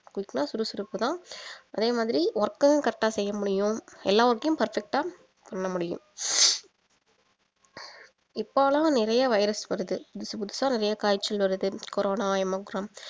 quick னா சுறுசுறுப்பு தான் அதே மாதிரி work யும் correct ஆ செய்ய முடியும் எல்லா work யும் பார்த்துகிட்டா பண்ண முடியும் இப்பலாம் நிறைய virus வருது புதுசா புதுசா நிறைய காய்ச்சல் வருது கோரோனா omicron